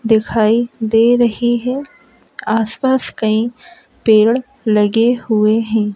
दिखाई दे रही है। आस-पास कहीं पेड़ लगे हुए हैं।